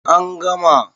A an gama